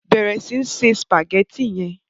bẹrẹ sí ńse spaghetti yén.